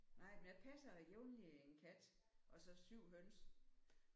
Nej men jeg passer jævnlig en kat og så 7 høns